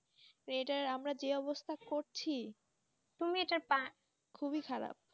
এটা আমাদের যে অবস্থা করছি তুমি এটা খুবই খারাপ